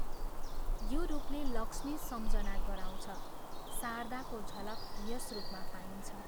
यो रूपले लक्ष्मी सम्झना गराउँछ शारदाको झलक यस रूपमा पाइन्छ।